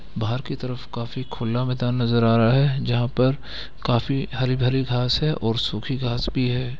बाहर की तरफ काफी खुला मैदान नज़र आ रहा है जहाँ पर काफी हरी-भरी घास है और सूखी घास भी है।